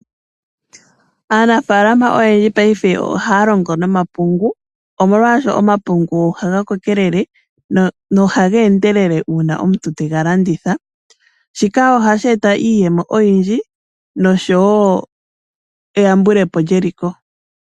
Aanafaalama oyendji paife oha ya longo nomapungu omolwaasho omapungu ohaga kokelele nohageendele uuna omuntu tega landitha. Shika ohasheeta iiyemo oyindji noshowoo eyambulepo lyeliko.